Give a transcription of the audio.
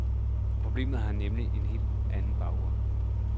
Problemet har nemlig en helt anden baggrund.